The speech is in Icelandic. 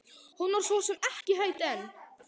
Hún var svo sem ekki hrædd en.